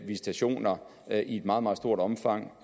visitationer i et meget meget stort omfang